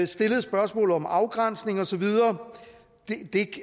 stillede spørgsmålet om afgrænsning og så videre det